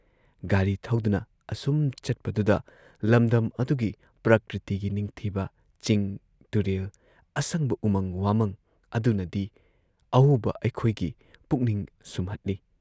ꯒꯥꯔꯤ ꯊꯧꯗꯨꯅ ꯑꯁꯨꯝ ꯆꯠꯄꯗꯨꯗ ꯂꯝꯗꯝ ꯑꯗꯨꯒꯤ ꯄ꯭ꯔꯀ꯭ꯔꯤꯇꯤꯒꯤ ꯅꯤꯡꯊꯤꯕ ꯆꯤꯡ ꯇꯨꯔꯦꯜ, ꯑꯁꯪꯕ ꯎꯃꯪ ꯋꯥꯃꯪ ꯑꯗꯨꯅꯗꯤ ꯑꯎꯕ ꯑꯩꯈꯣꯏꯒꯤ ꯄꯨꯛꯅꯤꯡ ꯁꯨꯝꯍꯠꯂꯤ ꯫